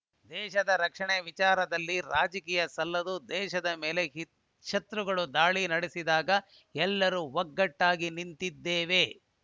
ದೇಶ ರಕ್ಷಣೆ ವಿಚಾರದಲ್ಲಿ ರಾಜಕೀಯ ಸಲ್ಲದು ದೇಶದ ಮೇಲೆ ಶತ್ರುಗಳು ದಾಳಿ ನಡೆಸಿದಾಗ ಎಲ್ಲರೂ ಒಗ್ಗಟ್ಟಾಗಿ ನಿಂತಿದ್ದೇವೆ